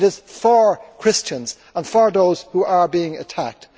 It is for Christians and for those who are being attacked.